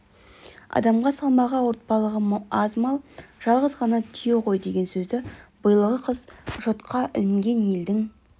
адамға салмағы ауыртпалығы аз мал жалғыз ғана түйе ғой деген сөзді биылғы қыс жұтқа ілінген елдің